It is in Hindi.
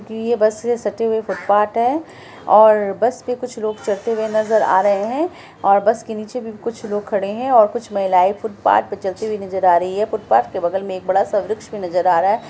ये बस से सटी हुई फूटपाथ है और बस पे कुछ लोग चढ़ते हुए नजर आ रहे हैं और बस के नीचे भी कुछ लोग है और कुछ महिलाये फूटपाथ पे कड़ी हुई नजर आ रही है| फूटपाथ के बगल में एक बड़ा-सा वृक्ष नजर आ रहा है।